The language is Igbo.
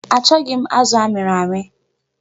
Achọghị m azụ a miri amị.